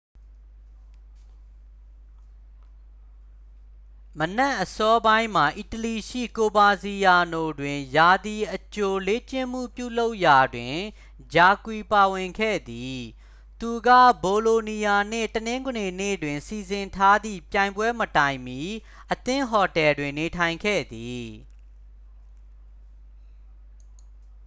မနက်အစောပိုင်းမှာ အီတလီရှိ ကိုဗာစီယာနိုတွင် ရာသီအကြိုလေ့ကျင့်မှု ပြုလုပ်ရာတွင် jarque ပါဝင်ခဲ့သည် သူက ဘိုလိုနီးယားနှင့် တနင်္ဂနွေနေ့တွင် စီစဉ်ထားသည့် ပြိုင်ပွဲမတိုင်မီ အသင်းဟိုတယ်တွင် နေထိုင်ခဲ့သည်